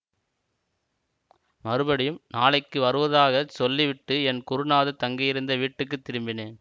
மறுபடியும் நாளைக்கு வருவதாக சொல்லிவிட்டு என் குருநாதர் தங்கியிருந்த வீட்டுக்கு திரும்பினேன்